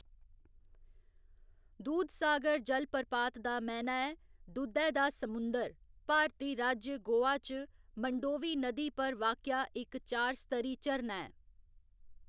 दूधसागर जलप्रपात दा मैह्‌‌‌ना ऐ दुद्धै दा समुंदर भारती राज्य गोवा च मंडोवी नदी पर वाक्या इक चार स्तरी झरना ऐ।